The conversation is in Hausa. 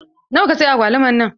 Nawa ka siya agwaluman nan?